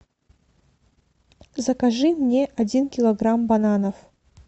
закажи мне один килограмм бананов